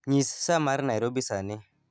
Nyis sa mar Nairobi sani